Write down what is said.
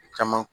Caman